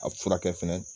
A furakɛ fɛnɛ